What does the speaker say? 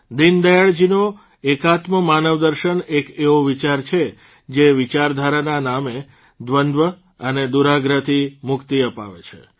દીનદયાળજીનો એકાત્મક માનવદર્શન એક એવો વિચાર છે જે વિચારધારાના નામે દ્વંદ્વ અને દુરાગ્રહથી મુક્તિ અપાવે છે